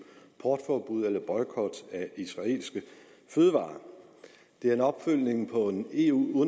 boykot af israelske fødevarer det er en opfølgning på en eu